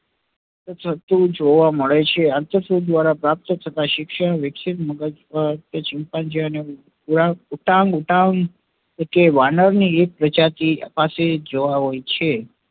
થતું જોવા મળે છે અંતરસુદ દ્વરા પ્રાપ્ત થતા શિક્ષણ વિકસિત મગજ ઉપર તે chimpanzee urangutan વાનર ની એક પ્રજાતિ પાસે જોવા મળે છે